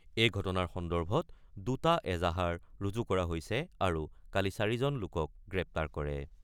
এই ঘটনাৰ সন্দৰ্ভত দুটা এজাহাৰ ৰুজু কৰা হৈছে আৰু কালি ৪ জন লোকক গ্ৰেপ্তাৰ কৰে।